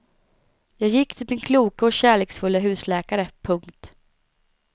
Jag gick till min kloke och kärleksfulle husläkare. punkt